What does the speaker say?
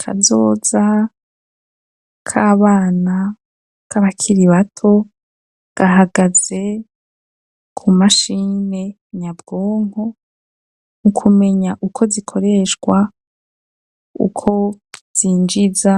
Kazoza kabana k'abakiri bato gahagaze ku mashini nyabwonko mu kumenya uko zikoreshwa uko zinjiza